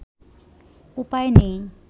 উপায় নেই